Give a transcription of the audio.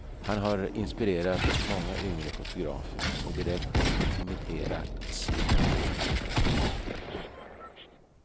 Han har inspirerat många yngre fotografer, och direkt imiterats av en del.